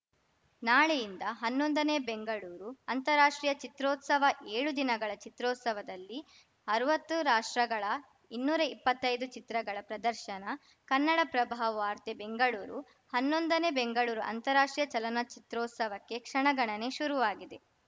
ನಾಳೆಯಿಂದ ಹನ್ನೊಂದನೇ ಬೆಂಗಳೂರು ಅಂತಾರಾಷ್ಟ್ರೀಯ ಚಿತ್ರೋತ್ಸವ ಎಳು ದಿನಗಳ ಚಿತ್ರೋತ್ಸವದಲ್ಲಿ ಅರ್ವತ್ತು ರಾಷ್ಟ್ರಗಳ ಇನ್ನೂರಾ ಇಪ್ಪತ್ತೈದು ಚಿತ್ರಗಳ ಪ್ರದರ್ಶನ ಕನ್ನಡಪ್ರಭ ವಾರ್ತೆ ಬೆಂಗಳೂರು ಹನ್ನೊಂದನೇ ಬೆಂಗಳೂರು ಅಂತಾರಾಷ್ಟ್ರೀಯ ಚಲನಚಿತ್ರೋತ್ಸವಕ್ಕೆ ಕ್ಷಣಗಣನೆ ಶುರುವಾಗಿದೆ